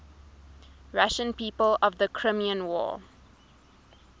russian people of the crimean war